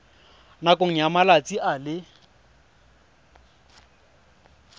nakong ya malatsi a le